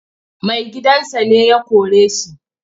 Maigidansa ne ya kore shi.